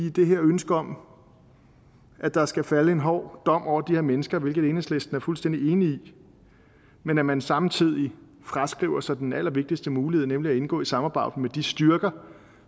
i det her ønske om at der skal falde en hård dom over de her mennesker hvilket enhedslisten er fuldstændig enig i når man samtidig fraskriver sig den allervigtigste mulighed nemlig at indgå i et samarbejde med de styrker